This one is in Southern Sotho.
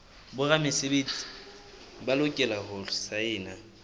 boramesebetsi ba lokela ho saena